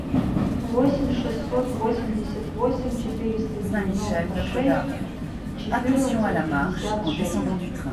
восемь шестьсот восемьдесят восемь четыреста девяносто шесть четырнадцать пятьдесят шесть